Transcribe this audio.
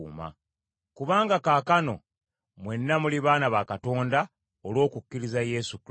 Kubanga kaakano mwenna muli baana ba Katonda olw’okukkiriza Yesu Kristo,